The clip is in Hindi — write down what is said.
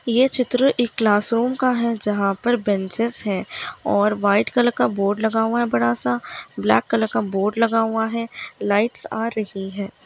ये चित्र एक क्लास रूम का है जहाँ पर बेन्चेज हैं और वाइट कलर का बोर्ड लगा हुआ है बड़ा सा ब्लैक कलर लगा हुआ है लाइट्स आ रही है।